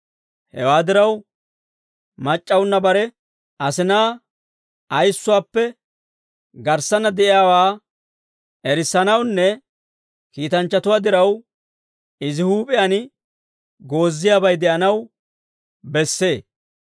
Hewaa diraw, mac'c'awunna bare asinaa ayissuwaappe garssanna de'iyaawaa erissanawunne kiitanchchatuwaa diraw, izi huup'iyaan gooziyaabay de'anaw bessee.